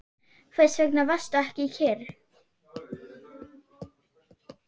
Hvers vegna varstu ekki kyrr?